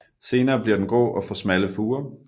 Senere bliver den grå og får smalle furer